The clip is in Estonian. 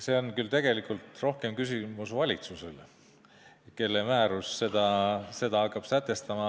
See on tegelikult küll rohkem küsimus valitsusele, kelle määrus hakkab seda sätestama.